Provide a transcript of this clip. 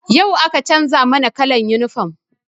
Yau aka canza mana kallan yunifom